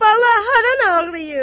"Bala, haran ağrıyır?"